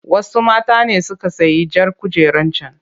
Wasu mata ne suka sayi jar kujerar can.